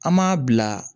An m'a bila